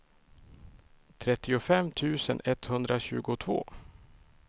trettiofem tusen etthundratjugotvå